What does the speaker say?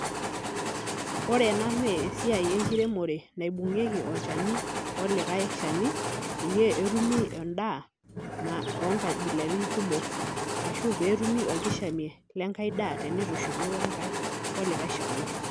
Ore ena naa esiai enkiremore naibung'ieki olchani olikai shani pee etumi endaa oonkabilaitin kumok ashu pee etumi orkishamie lenkai daa tenitushuli olikai shani.